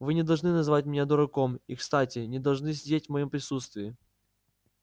вы не должны называть меня дураком и кстати не должны сидеть в моём присутствии